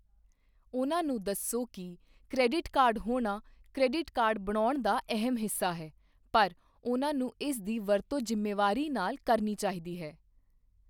ਉਹਨਾਂ ਨੂੰ ਦੱਸੋ ਕਿ ਕ੍ਰੈਡਿਟ ਕਾਰਡ ਹੋਣਾ ਕ੍ਰੈਡਿਟ ਕਾਰਡ ਬਣਾਉਣ ਦਾ ਅਹਿਮ ਹਿੱਸਾ ਹੈ, ਪਰ ਉਨ੍ਹਾਂ ਨੂੰ ਇਸ ਦੀ ਵਰਤੋਂ ਜ਼ਿੰਮੇਵਾਰੀ ਨਾਲ ਕਰਨੀ ਚਾਹੀਦੀ ਹੈ।